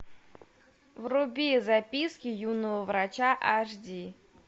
вруби записки юного врача аш ди